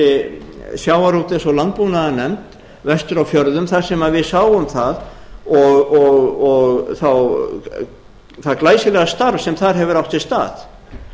hæstvirtum sjávarútvegs og landbúnaðarnefnd vestur á fjörðum þar sem við sáum það og það glæsilega starf sem þar hefur átt sér stað